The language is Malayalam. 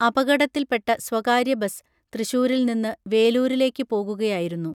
അപകടത്തിൽപ്പെട്ട സ്വകാര്യ ബസ്സ് തൃശ്ശൂരിൽ നിന്ന് വേലൂരിലേക്ക് പോകുകയായിരുന്നു